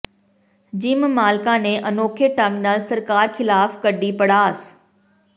gym ਮਾਲਕਾਂ ਨੇ ਅਨੋਖੇ ਢੰਗ ਨਾਲ ਸਰਕਾਰ ਖਿਲਾਫ ਕੱਢੀ ਭੜਾਸ